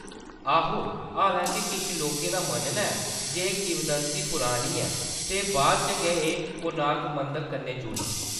आहो, हालां-के किश लोकें दा मन्नना ​​ऐ जे एह्‌‌ किवदंती पुरानी ऐ ते बाद इच गै एह्‌‌ कोणार्क मंदर कन्नै जुड़ी।